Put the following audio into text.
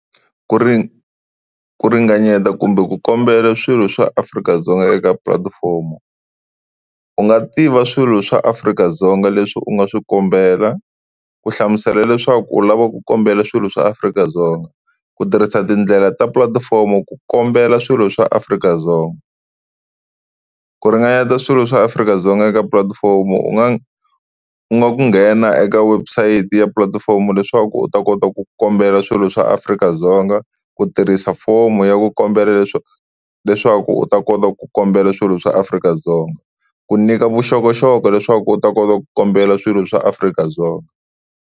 Ku ringanyeta kumbe ku kombela swilo swa Afrika-Dzonga eka pulatifomo, u nga tiva swilo swa Afrika-Dzonga leswi u nga swi kombela, ku hlamusela leswaku u lava ku kombela swilo swa Afrika-Dzonga. Ku tirhisa tindlela ta pulatifomo ku kombela swilo swa Afrika-Dzonga. Ku ringanyeta swilo swa Afrika-Dzonga eka pulatifomo u nga u nga ku nghena eka website ya pulatifomo leswaku u ta kota ku ku kombela swilo swa Afrika-Dzonga, ku tirhisa fomo ya ku kombela leswaku u ta kota ku kombela swilo swa Afrika-Dzonga ku nyika vuxokoxoko leswaku u ta kota ku kombela swilo swa Afrika-Dzonga.